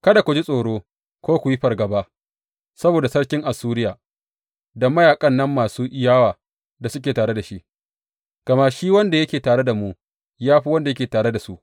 Kada ku ji tsoro ko ku yi fargaba saboda sarkin Assuriya, da mayaƙan nan masu yawa da suke tare da shi, gama shi wanda yake tare da mu, ya fi wanda yake tare da su.